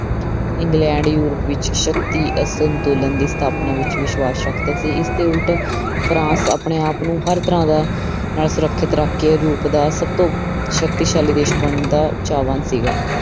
England Europe ਵਿੱਚ ਸ਼ਕਤੀ ਅਸੰਤੁਲਨ ਦੀ ਸਥਾਪਨਾ ਵਿੱਚ ਵਿਸ਼ਵਾਸ ਰੱਖਦਾ ਸੀ ਇਸਦੇ ਉੱਲਟ ਫਰਾਂਸ ਆਪਣੇ ਆਪ ਨੂੰ ਹਰ ਤਰ੍ਹਾਂ ਦਾ ਨਾਲ ਸੁਰੱਖਿਅਤ ਰੱਖ ਕੇ ਰੂਪ ਦਾ ਸਭ ਤੋਂ ਸ਼ਕਤੀਸ਼ਾਲੀ ਦੇਸ ਬਣਨ ਦਾ ਚਾਹਵਾਨ ਸੀਗਾ।